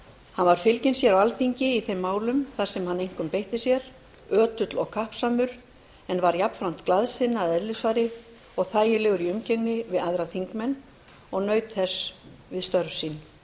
hann var fylginn sér á alþingi í þeim málum þar sem hann einkum beitti sér ötull og kappsamur en var jafnframt glaðsinna að eðlisfari og þægilegur í umgengni við aðra þingmenn og naut þess við störf sín